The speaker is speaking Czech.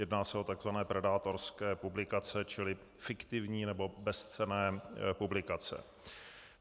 Jedná se o takzvané predátorské publikace, čili fiktivní nebo bezcenné publikace.